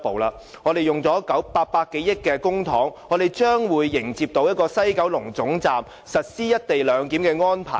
花了800多億元公帑，我們將會迎接在西九龍站實施"一地兩檢"的安排。